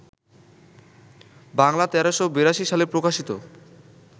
বাংলা ১৩৮২ সালে প্রকাশিত